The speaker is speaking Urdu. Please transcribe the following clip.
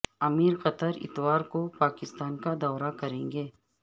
امیر قطر اتوار کو پاکستان کا دورہ کریں گے